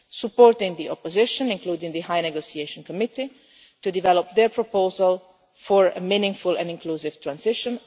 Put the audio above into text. supporting the opposition including the High Negotiation Committee to develop their proposal for a meaningful and inclusive transition